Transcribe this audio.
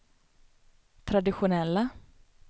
traditionella